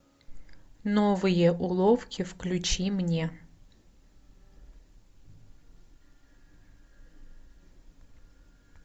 новые уловки включи мне